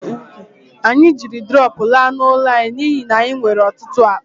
Anyị jiri drọpụ laa n'ụlọ anyị n'ihi na anyị nwere ọtụtụ akpa